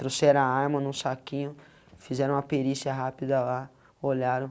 Trouxeram a arma num saquinho, fizeram uma perícia rápida lá, olharam.